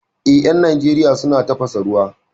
Eh, 'yan Najeriya suna tafasa ruwa